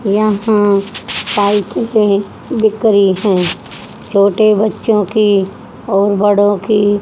यहां साइकिल भी बिक रही है छोटे बच्चों की और बड़ों की--